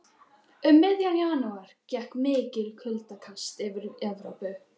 Um miðjan janúar gekk mikið kuldakast yfir Evrópu.